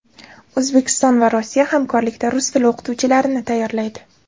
O‘zbekiston va Rossiya hamkorlikda rus tili o‘qituvchilarini tayyorlaydi.